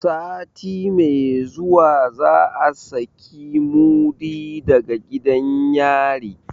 Sati mai zuwa za a saki mudi daga gidan yari.